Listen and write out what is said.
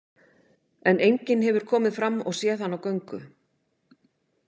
En enginn hefur komið fram og séð hann á göngu.